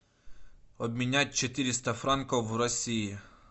обменять четыреста франков в россии